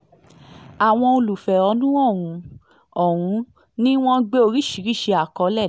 àwọn olùfẹ̀hónúhàn ọ̀hún ọ̀hún ni wọ́n gbé oríṣìíríṣìí àkọlé